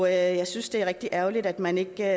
jeg jeg synes det er rigtig ærgerligt at man ikke